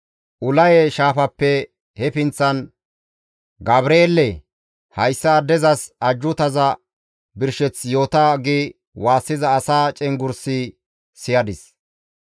Ulaye shaafappe he pinththan, «Gabreele! Hayssa addezas ajjuutaza birsheth yoota!» gi waassiza asa cenggurs siyadis.